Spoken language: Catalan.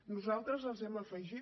nosaltres hi hem afegit